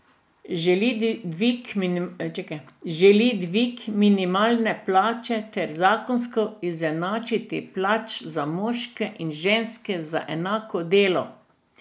Želi dvig minimalne plače ter zakonsko izenačitev plač za moške in ženske za enako delo.